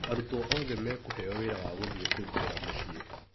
Arutwo othe mekũheo wĩra wa gũthiĩ kũrutĩra mũciĩ.